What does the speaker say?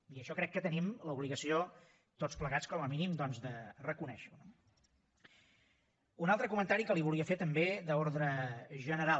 i això crec que tenim l’obligació tots plegats com a mínim de reconèixer ho no un altre comentari que li volia fer també d’ordre general